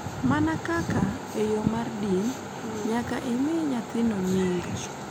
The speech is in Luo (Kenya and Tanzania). Mana kaka, e yo mar dini, nyaka imi nyathino nying,